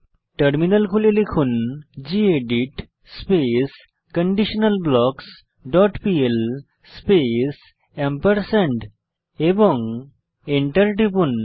terminal খুলে লিখুন gedit space conditional blocks dot pl space এবং এন্টার টিপুন